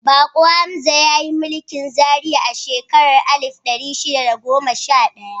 Bako Hamza ya yi mulkin Zaria a shekarar alif ɗari shida da goma sha ɗaya.